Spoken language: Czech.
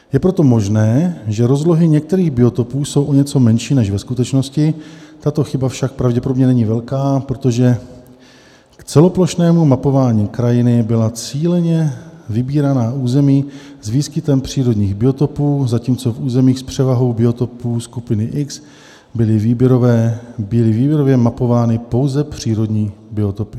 Je proto možné, že rozlohy některých biotopů jsou o něco menší než ve skutečnosti, tato chyba však pravděpodobně není velká, protože k celoplošnému mapování krajiny byla cíleně vybírána území s výskytem přírodních biotopů, zatímco v územích s převahou biotopů skupiny X byly výběrově mapovány pouze přírodní biotopy.